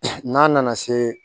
N'a nana se